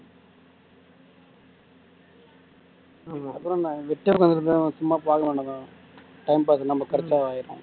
அப்புறம் நான் வெட்டியா உட்கார்ந்து இருந்தேன் சும்மா பார்க்க வேண்டாமா time pass க்கு நம்ம கிடைச்சா ஆயிடும்